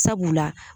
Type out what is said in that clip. Sabula